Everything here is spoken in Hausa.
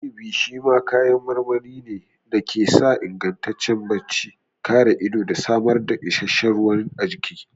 Inibi shi ma kayan marmari ne da ke sa ingantaccen bacci, kare ido da samar da isasshen ruwa a jiki.